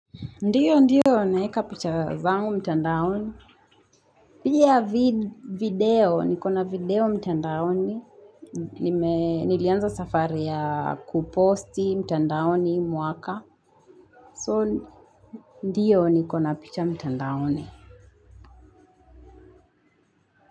Ndiyo, ndiyo, naeka picha zangu mtandaoni. Pia video, nikona video mtandaoni. Nilianza safari ya kuposti mtandaoni mwaka. So, ndiyo, nikona picha mtandaoni.